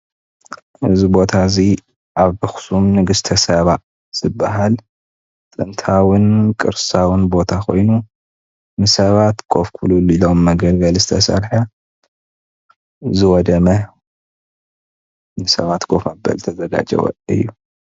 እዚ ቦታ እዙይ ኣብ ኣክሱም ንግስተ ሳባ ዝባሃል ጥንታውን ቅርሳውን ቦታ ኮይኑ ንሰባት ኮፍ ክብልሉ ዝቅመጥ መገልገሊ ዝተሰርሐ ዝወደመ ንሰባት ኮፍ መበሊ ዝተዘጋጀወ እዩ፡፡